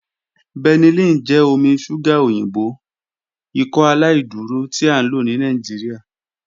Benylin jẹ omi ṣuga oyinbo Ikọaláìdúró ti a lo ni Nigeria.